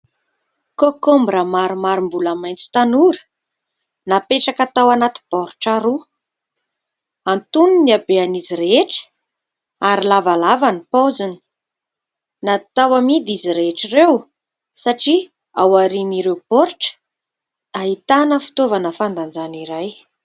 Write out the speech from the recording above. '' Concombre'' maromaro mbola maitsotanora napetraka tao anaty baoritra roa, antonony ny habehan'izy rehetra ary lavalava ny poziny, natao amidy izy rehetra ireo satria ao aorian'ireo baoritra ahitana fitaovana fandanjana iray.